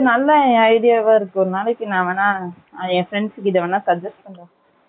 நல்ல idea அ இருக்கு ஒரு நாளைக்கு நான் வேணா என் friends கிட்ட வேணா suggest பண்றேன்